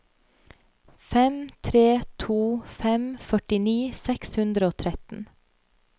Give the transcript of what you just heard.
fem tre to fem førtini seks hundre og tretten